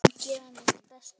Ég mun gera mitt besta.